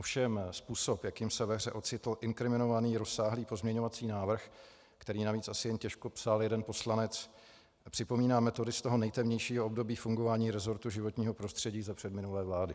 Ovšem způsob, jakým se ve hře ocitl inkriminovaných rozsáhlý pozměňovací návrh, který navíc asi jen těžko psal jeden poslanec, připomíná metody z toho nejtemnějšího období fungování resortu životního prostředí za předminulé vlády.